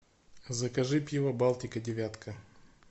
закажи пиво балтика девятка